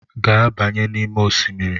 Gaa banye n'ime osimiri!